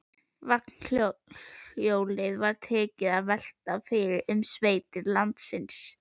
Vagnhjólið var tekið að velta um sveitir landsins.